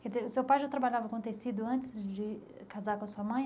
Quer dizer, o seu pai já trabalhava com tecido antes de casar com a sua mãe?